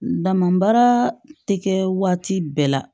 Damanbaara tɛ kɛ waati bɛɛ la